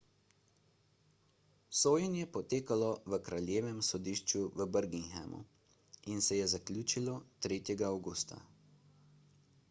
sojenje je potekalo v kraljevem sodišču v birminghamu in se je zaključilo 3 avgusta